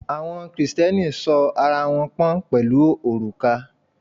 Àwọn Kristẹni sọ ara wọn pọ̀n pẹ̀lú òrùka.